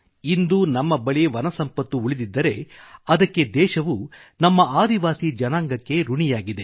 ಇಂದು ನಮ್ಮ ಬಳಿ ಏನು ವನಸಂಪತ್ತು ಉಳಿದಿದೆ ಅದಕ್ಕೆದೇಶವು ನಮ್ಮ ಆದಿವಾಸಿ ಜನಾಂಗಕ್ಕೆ ಋಣಿಯಾಗಿದೆ